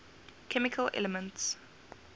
chemical elements